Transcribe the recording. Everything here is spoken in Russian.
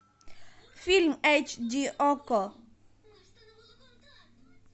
фильм эйч ди окко